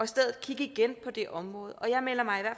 stedet igen på det område og jeg melder mig